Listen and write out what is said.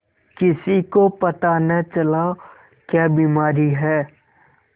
किसी को पता न चला क्या बीमारी है